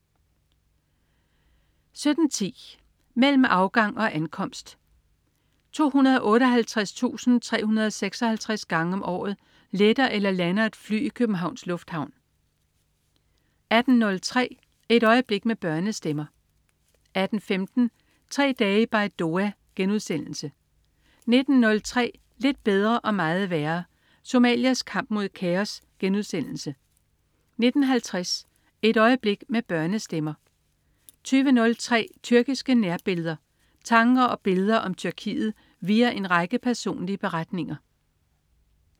17.10 Mellem afgang og ankomst. 258.356 gange om året letter eller lander et fly i Københavns Lufthavn 18.03 Et øjeblik med børnestemmer 18.15 Tre dage i Baidoa* 19.03 Lidt bedre og meget værre. Somalias kamp mod kaos* 19.50 Et øjeblik med børnestemmer 20.03 Tyrkiske nærbilleder. Tanker og billeder om Tyrkiet via en række personlige beretninger